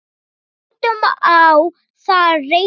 Látum á það reyna.